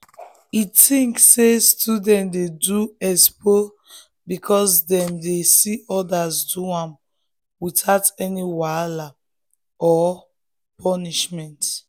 e think say um students dey do expo because dem dey um see others do am without any um wahala or punishment.